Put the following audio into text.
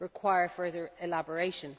require further elaboration.